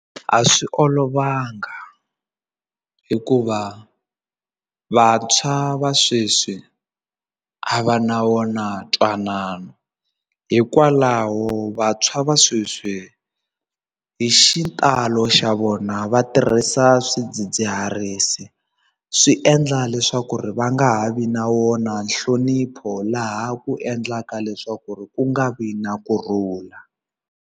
A swi olovanga hikuva vantshwa va sweswi a va na wona ntwanano hikwalaho vantshwa va sweswi hi xitalo xa vona va tirhisa swidzidziharisi swi endla leswaku ri va nga ha vi na wona nhlonipho laha ku endlaka leswaku ku nga vi na kurhula.